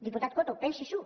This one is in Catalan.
diputat coto pensi s’ho